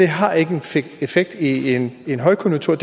har en effekt i en højkonjunktur